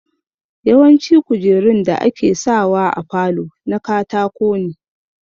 Yawanci kujerun da ake sa wa a falo na katako ne